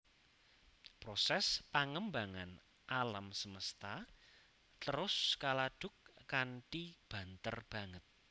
Prosès pangembangan alam semesta terus kaladuk kanthi banter banget